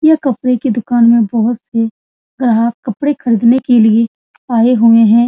यह कपड़े के दुकान में बहुत से ग्राहक कपड़े खरदीने के लिए आए हुए है।